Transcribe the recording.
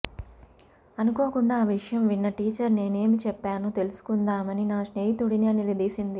అనుకోకుండా ఆ విషయం విన్న టీచర్ నేనేమి చెప్పానో తెలుసుకుందామని నా స్నేహితుడుని నిలదీసింది